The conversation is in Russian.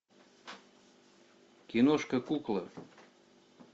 киношка кукла